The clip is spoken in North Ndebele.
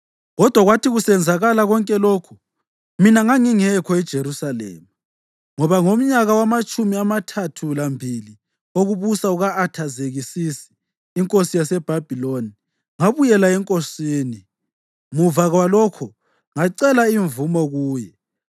Kodwa kwathi kusenzakala konke lokhu, mina ngangingekho eJerusalema, ngoba ngomnyaka wamatshumi amathathu lambili wokubusa kuka-Athazekisisi inkosi yaseBhabhiloni ngabuyela enkosini. Muva kwalokho ngacela imvumo kuye